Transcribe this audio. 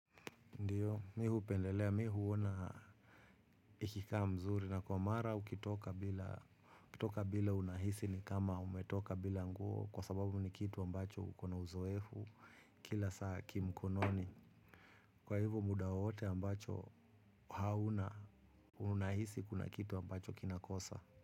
Ndiyo, mi hupendelea, mi huona ikikaa mzuri na kwa mara ukitoka bila unahisi ni kama umetoka bila nguo kwa sababu ni kitu ambacho kuna uzoefu kila saa kimkononi. Kwa hivyo muda wowote ambacho hauna unahisi kuna kitu ambacho kinakosa.